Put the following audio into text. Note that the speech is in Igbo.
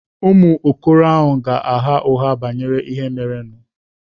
Ụmụ okoro ahụ ga-agha ụgha banyere ihe merenụ.